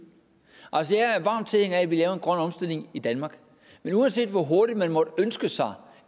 altså jeg er varm tilhænger af at vi laver en grøn omstilling i danmark men uanset hvor hurtigt man måtte ønske sig